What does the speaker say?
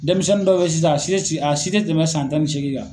Denmisɛnni dɔ bɛ ye sisan a si tɛ a si tɛ tɛmɛ san tan ni seegin kan.